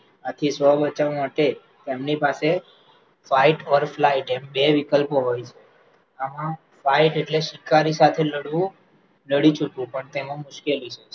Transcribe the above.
આથીસ્વબચાવ માટે તેમની પાસે fightऔरflight એમ બે વિકલ્પો હોઈ છે એમાં fight એટલે ની શિકારી સાથે લડવું લડી શકવું પણ એ મુશ્કેલ છે